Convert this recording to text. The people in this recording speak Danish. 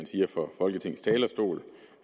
sige fra folketingets talerstol